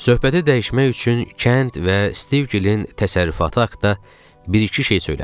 Söhbəti dəyişmək üçün kənd və Stivgilin təsərrüfatı haqqında bir-iki şey söylədim.